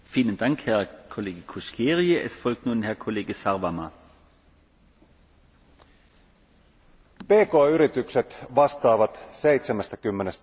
Pk yritykset vastaavat 70 prosentista työpaikoista ja niiden liikevaihto muodostaa EU alueen yritysten liikevaihdosta peräti 80 prosenttia.